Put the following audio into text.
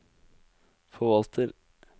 forvalter